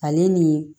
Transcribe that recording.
Ale ni